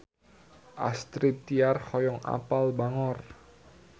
Astrid Tiar hoyong apal Bangor